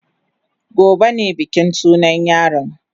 Gobe ne bikin sunan yaron.